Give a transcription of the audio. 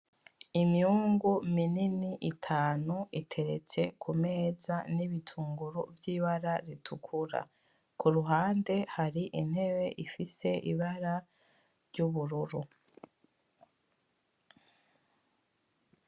Imyungu minini itanu iteretse kumeza n'ibitunguru vyibara ritukura. Kuruhande hari intebe ifise ibara ry'ubururu.